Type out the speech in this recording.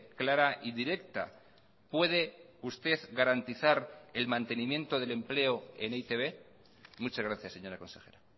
clara y directa puede usted garantizar el mantenimiento del empleo en e i te be muchas gracias señora consejera